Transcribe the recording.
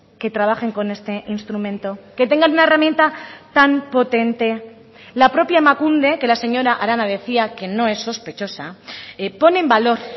que trabajen con este instrumento qué tengan una herramienta tan potente la propia emakunde que la señora arana decía que no es sospechosa pone en valor